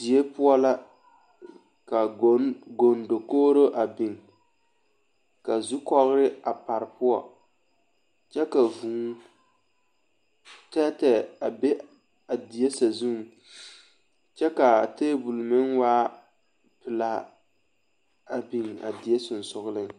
Die poɔ la ka gondakogro a biŋ ka zukɔɔre a pare poɔ kyɛ ka vuu tɛɛtɛɛ a be a die sasuŋ kyɛ ka tabol meŋ waa pelaa a biŋ a die sogsoleŋ